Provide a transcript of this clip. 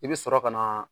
I bɛ sɔrɔ ka na